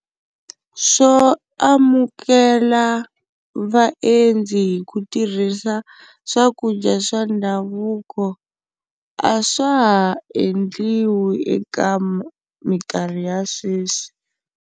Swo amukela vaendzi hi ku tirhisa swakudya swa ndhavuko a swa ha endliwi eka minkarhi ya sweswi.